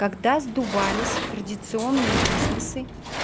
когда сдувались традиционные бизнесы